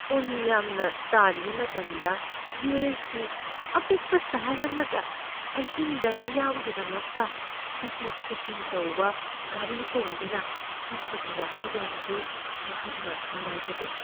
ꯎꯟ ꯌꯥꯝꯅ ꯇꯥꯔꯤꯉꯩ ꯃꯇꯝꯗ ꯌꯨ.ꯑꯦꯁ.ꯀꯤ ꯑꯄꯤꯛꯄ ꯁꯍꯔ ꯑꯃꯗ ꯑꯍꯤꯡꯗ ꯃꯤꯌꯥꯝꯒꯤꯗꯃꯛꯇ ꯆꯠꯊꯣꯛ ꯆꯠꯁꯤꯟ ꯇꯧꯕ ꯒꯥꯔꯤ ꯇꯣꯡꯗꯨꯅ ꯆꯠꯄꯒꯤ ꯋꯥꯈꯜꯂꯣꯟ ꯑꯗꯨ ꯑꯩꯍꯥꯛꯅ ꯅꯨꯡꯉꯥꯏꯖꯗꯦ꯫